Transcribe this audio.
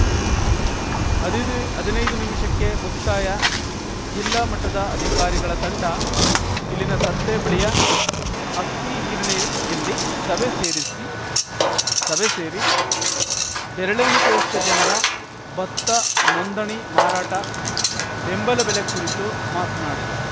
ಹದಿದೆ ನದಿನೈದು ನಿಮಿಷಕ್ಕೆ ಮುಕ್ತಾಯ ಜಿಲ್ಲಾ ಮಟ್ಟದ ಅಧಿಕಾರಿಗಳ ತಂಡ ಇಲ್ಲಿನ ಸಂತೆ ಬಳಿಯ ಅಕ್ಕಿಗಿರಣಿಯಲ್ಲಿ ಸಭೆ ಸೇರಿಸಿ ಸಭೆ ಸೇರಿ ಬೆರಳೆಣಿಕೆಯಷ್ಟುಜನರ ಭತ್ತ ನೊಂದಣಿ ಮಾರಾಟ ಬೆಂಬಲ ಬೆಲೆ ಕುರಿತು ಮಾತನಾಡಿದರು